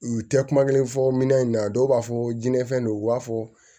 U tɛ kuma kelen fɔ minɛn in na dɔw b'a fɔ jinɛ fɛn don u b'a fɔ